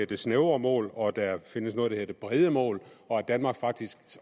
det snævre mål og at der findes noget der hedder det brede mål og at danmark faktisk